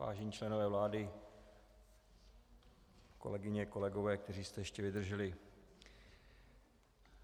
Vážení členové vlády, kolegyně, kolegové, kteří jste ještě vydrželi.